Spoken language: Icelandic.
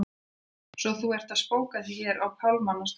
Svo að þú ert að spóka þig hér á pálmanna strönd!